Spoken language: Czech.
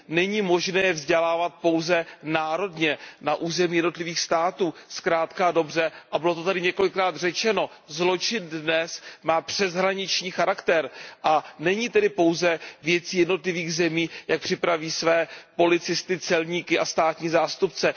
Není možné vzdělávat pouze národně na území jednotlivých států, zkrátka a dobře, a bylo to tady několikrát řečeno, zločin dnes má přeshraniční charakter, a není tedy pouze věcí jednotlivých zemí, jak připraví své policisty, celníky a státní zástupce.